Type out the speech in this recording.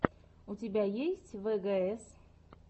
у тебя есть вгс